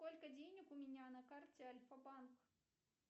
сколько денег у меня на карте альфа банк